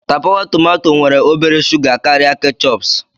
Tapawa tomato nwere obere shuga karịa ketchups